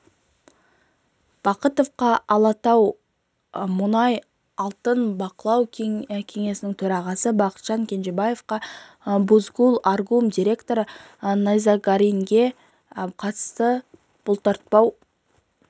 бахытовқа алатау мұнай алтын бақылау кеңесінің төрағасы бақытжан кенжебаевқа бузгул аргум директоры найзағаринге қатысты бұлтартпау